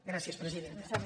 gràcies presidenta